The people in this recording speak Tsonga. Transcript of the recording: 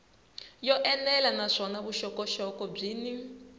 yo enela naswona vuxokoxoko byin